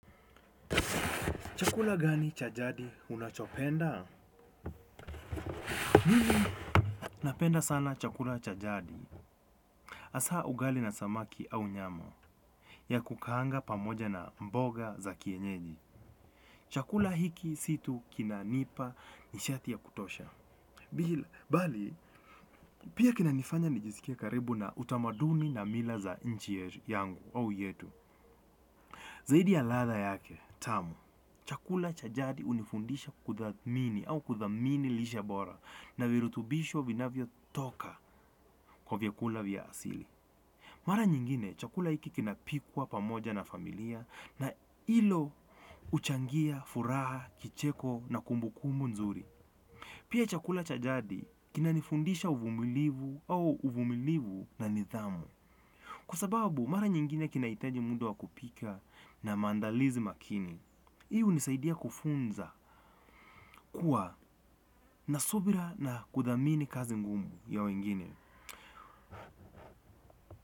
Chakula gani cha jadi unachopenda? Mimi napenda sana chakula cha jadi. Asa ugali na samaki au nyama. Ya kukahanga pamoja na mboga za kienyeji. Chakula hiki si tu kinanipa nishati ya kutosha. Pili, bali, pia kinanifanya nijisikia karibu na utamaduni na mila za nchi yangu au yetu. Zaidi ya latha yake, tamu. Chakula cha jadi unifundisha kuthamini au kuthamini lishe bora. Na virutubisho vinavyo toka kwa vyakula vya asili. Mara nyingine, chakula hiki kinapikwa pamoja na familia na ilo uchangia, furaha, kicheko na kumbukumu nzuri. Pia chakula cha jadi kinanifundisha uvumilivu au uvumilivu na nithamu. Kwa sababu, mara nyingine kinaitaji muda wa kupika na mandalizi makini. Hii unisaidia kufunza kuwa na subira na kudhamini kazi ngumu ya wengine.